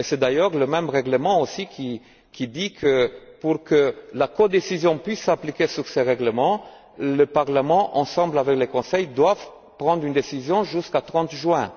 Et c'est d'ailleurs le même règlement aussi qui dispose que pour que la codécision puisse s'appliquer à ce règlement, le Parlement, ensemble avec le Conseil, doivent prendre une décision avant le 30 juin.